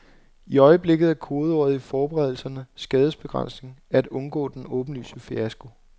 I øjeblikket er kodeordet i forberedelserne skadesbegrænsning, at undgå den åbenlyse fiasko.